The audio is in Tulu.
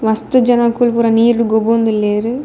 ಮಸ್ತ್ ಜನೊಕುಲು ಪೂರ ನೀರ್ಡ್ ಗೊಬ್ಬೊಂದುಲ್ಲೆರ್.